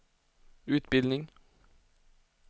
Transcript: utbildning